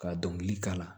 Ka dɔnkili k'a la